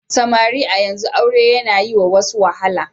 Samari a yanzu aure yana yi wa wasu wahala.